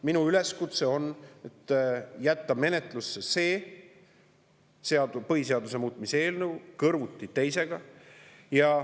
Minu üleskutse on jätta menetlusse see põhiseaduse muutmise eelnõu kõrvuti teisega.